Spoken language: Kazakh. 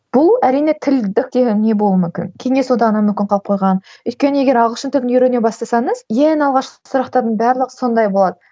бұл әрине тілдікте не болуы мүмкін кеңес одағынан мүмкін қалып қойған өйткені егер ағылшын тілін үйрене бастасаңыз ең алғашқы сұрақтардың барлығы сондай болады